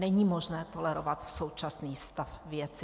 Není možné tolerovat současný stav věci.